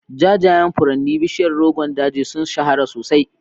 Jajayen furannin bishiyar Rogon Daji sun shahara sosai.